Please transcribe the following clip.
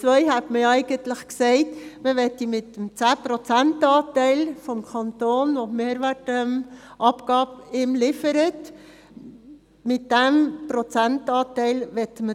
Im Punkt 2 hat man eigentlich gesagt, man wolle das Ganze mit dem zehn prozentigen Anteil des Kantons, welchen die Mehrwertabgabe liefert, finanzieren.